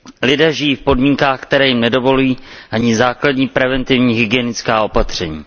Lidé žijí v podmínkách, které jim nedovolují ani základní preventivní hygienická opatření.